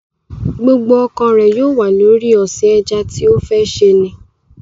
Gbogbo ọkàn rẹ̀ yóò wà lórí ọ̀sìn ẹja tí ó fẹ́ ṣe ni